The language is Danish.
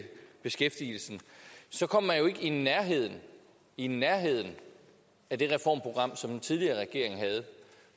beskæftigelsen så kommer man jo ikke i nærheden i nærheden af det reformprogram som den tidligere regering havde